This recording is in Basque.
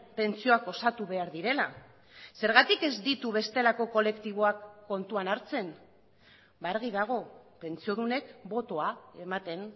pentsioak osatu behar direla zergatik ez ditu bestelako kolektiboak kontuan hartzen argi dago pentsiodunek botoa ematen